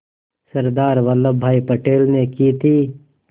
सरदार वल्लभ भाई पटेल ने की थी